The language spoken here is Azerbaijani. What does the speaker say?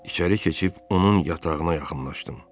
İçəri keçib onun yatağına yaxınlaşdım.